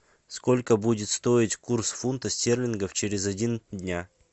сколько будет стоить курс фунта стерлингов через один дня